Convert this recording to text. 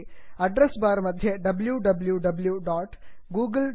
address bar मध्ये W W V